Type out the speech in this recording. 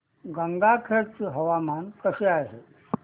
गंगाखेड चे हवामान कसे आहे